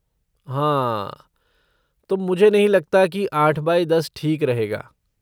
हाँ, तो मुझे नहीं लगता की आठ बाई दस ठीक रहेगा।